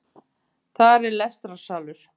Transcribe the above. Þar er lestrarsalur